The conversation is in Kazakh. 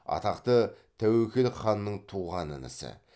атақты тәуекел ханның туған інісі